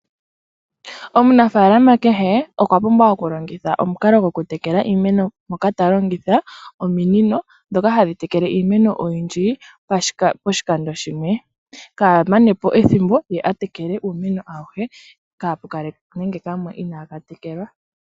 Omunafaalama kehe okwa pumbwa okulongitha omukalo goku tekelela iimeno mpoka talongitha omininondhoka hadhi tekele iimeno oyindji poshikando shimwe kaamanepo ethimbo ye atekele uumeno awushe kapu kale nande okamwe inaka tekelwa.